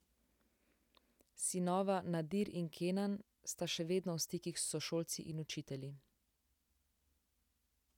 Sinova Nadir in Kenan sta še vedno v stikih s sošolci in učitelji.